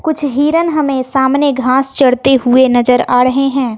कुछ हिरन हमे सामने घास चरते हुए नजर आ णहे हैं।